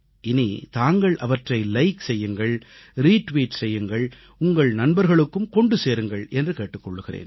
இனி தாங்கள் அவற்றை லைக் செய்யுங்கள் ரீ டுவீட் செய்யுங்கள் உங்கள் நண்பர்களுக்கும் கொண்டு சேருங்கள் என்று கேட்டுக் கொள்கிறேன்